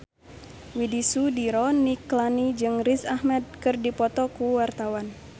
Widy Soediro Nichlany jeung Riz Ahmed keur dipoto ku wartawan